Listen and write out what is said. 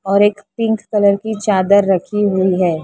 और एक pink colour की चादर रखी हुई है।